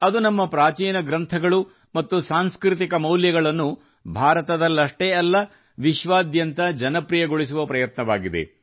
ಅದು ನಮ್ಮ ಪ್ರಾಚೀನ ಗ್ರಂಥಗಳು ಮತ್ತು ಸಾಂಸ್ಕೃತಿಕ ಮೌಲ್ಯಗಳನ್ನು ಭಾರತದಲ್ಲಷ್ಟೇ ಅಲ್ಲ ವಿಶ್ವಾದ್ಯಂತ ಜನಪ್ರಿಯಗೊಳಿಸುವ ಪ್ರಯತ್ನವಾಗಿದೆ